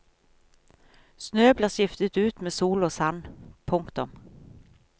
Snø blir skiftet ut med sol og sand. punktum